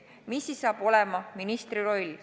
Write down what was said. Mis siis saab olema ministri roll?